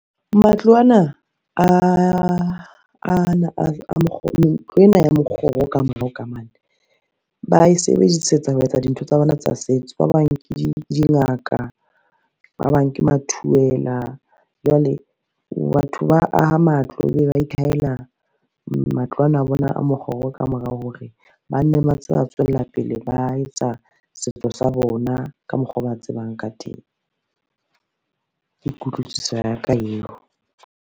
Ntlo ena ya mokgoro ka morao ka mane, ba e sebedisetsa ho etsa dintho tsa bona tsa setso. Ba bang ke di dingaka, ba bang ke mathuwela jwale batho ba aha matlo, ebe ba ikhahela matlo ano a bona a mokgoro ka morao hore, ba nne ba ntse ba tswella pele ba etsa setso sa bona ka mokgwa oo ba tsebang ka teng. Ke kutlwisiso ya ka eo.